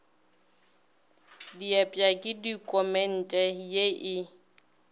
diepša ke dokumente ye e